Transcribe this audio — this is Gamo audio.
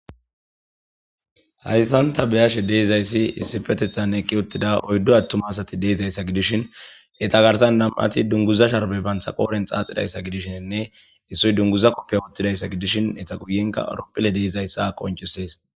hayssanta beyashe deizayssi issi petethan eqqi uttida oyddo attuma asati deizayssa gidishin eta garsan nam7ati dunguza sharbe banthaqooren xaaxidayssa gidishienne issoy dunguza koppiya uttidayssa gidishin etha guyenka aropphile deeizayssa qoncisees